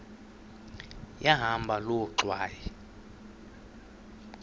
yahamba loo ngxwayi